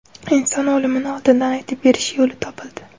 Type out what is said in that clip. Inson o‘limini oldindan aytib berish yo‘li topildi.